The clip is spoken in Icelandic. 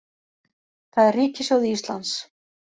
Það er ríkissjóði Íslands